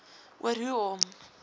oor hoe om